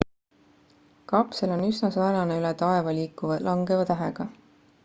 kapsel on üsna sarnane üle taeva liikuva langeva tähega